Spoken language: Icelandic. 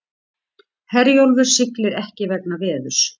Herjólfur siglir ekki vegna veðurs